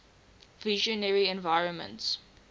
visionary environments